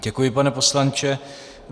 Děkuji, pane poslanče.